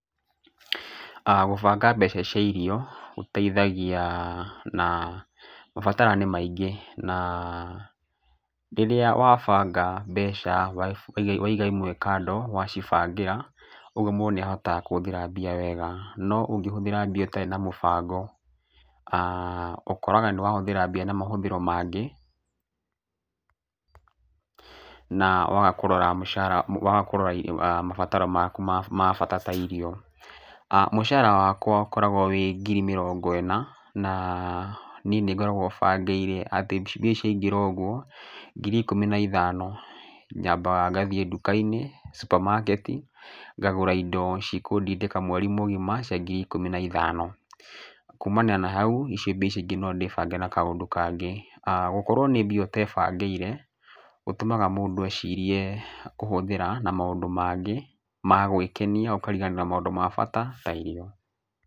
Gũbanga mbeca cia irio gũteithagia na mabatara nĩ maingĩ. Na rĩrĩa wabanga mbeca waiga imwe kando wacibangĩra, ũguo mũndũ nĩ ahotaga kũhũthĩra mbia wega. No ũngĩhũthĩra mbia ũtarĩ na mũbango, ũkoraga nĩ wahũthĩra mbia na mahũthĩro mangĩ na waga kũrora mabatara maku ma bata ta irio. Mũcara wakwa ũkoragwo wĩ ngiri mĩrongo ĩna na, niĩ nĩ ngoragwo bangĩire atĩ mbia ciaingĩra ũguo, ngiri ikũmi na ithano, nyambaga ngathiĩ nduka-inĩ supermarket ngagũra indo cikũndindĩka mweri mũgima cia ngiri ikũmi na ithano. Kuumania na hau, ico mbĩa icio ingĩ no ndĩbange na kaũndũ kangĩ. Gũkorwo nĩ mbia utebangĩire gũtũmaga mũndũ ecirie kũhũthĩra na maũndũ mangĩ ma gwĩkenia ũkariganĩrwo nĩ maũndũ ma bata ta irio.